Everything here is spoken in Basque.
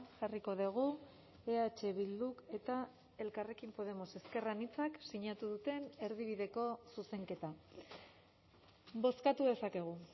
jarriko dugu eh bilduk eta elkarrekin podemos ezker anitzak sinatu duten erdibideko zuzenketa bozkatu dezakegu